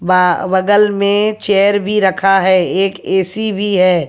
बगल में चेयर भी रखा है। एक ऐ_सी भी हैं।